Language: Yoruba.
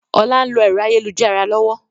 Ọlá ń lo ẹ̀rọ ayélujára lọ́wọ́